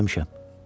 Görməmişəm.